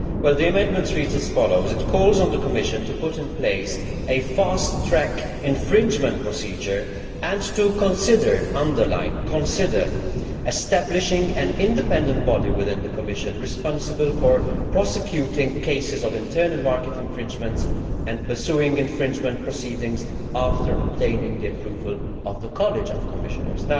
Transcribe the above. The amendment reads as follows calls on the Commission to put in place a fast track infringement procedure and to consider' I emphasise consider' establishing an independent body within the Commission responsible for prosecuting cases of internal market infringements and pursuing infringement proceedings after obtaining the approval of the College of Commissioners'.